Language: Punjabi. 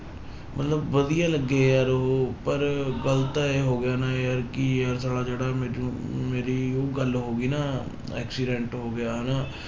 ਮਤਲਬ ਵਧੀਆ ਲੱਗੇ ਯਾਰ ਉਹ ਪਰ ਗੱਲ ਤਾਂ ਇਹ ਹੋ ਗਿਆ ਨਾ ਯਾਰ ਕਿ ਯਾਰ ਸਾਲਾ ਜਿਹੜਾ ਮੈਨੂੰ ਮੇਰੀ ਉਹ ਗੱਲ ਹੋ ਗਈ ਨਾ accident ਹੋ ਗਿਆ ਹਨਾ।